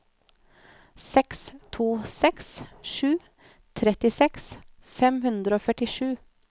seks to seks sju trettiseks fem hundre og førtisju